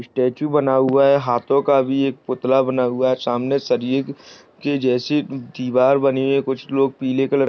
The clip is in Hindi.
स्टेचू बना हुआ है हाथों का भी एक पुतला बना हुआ है सामने सरिये के जैसी दीवार बनी है कुछ लोग पीले कलर --